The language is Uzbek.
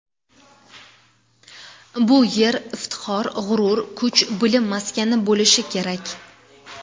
Bu yer iftixor, g‘urur, kuch, bilim maskani bo‘lishi kerak.